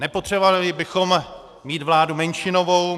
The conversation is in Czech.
Nepotřebovali bychom mít vládu menšinovou.